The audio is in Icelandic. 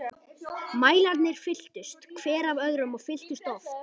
Mælarnir fylltust, hver af öðrum- og fylltust oft.